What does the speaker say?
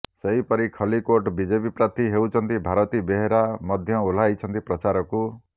ସେହିପରି ଖଲ୍ଲିକୋଟ ବିଜେପି ପ୍ରାର୍ଥୀ ହୋଇଛନ୍ତି ଭାରତୀ ବେହେରା ମଧ୍ୟ ଓହ୍ଲାଇଛନ୍ତି ପ୍ରଚାରକୁ